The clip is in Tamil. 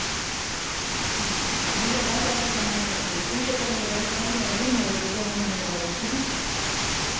தமிழ்லதான் பேச சொன்னாங்க இதுல தூய தமிழ்ல பேசுறேன்னு என் உயிர் மயிரை போட்டு வாங்கிட்டிருக்குறா ஒருத்தி